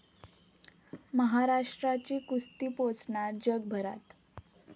महाराष्ट्राची कुस्ती पोचणार जगभरात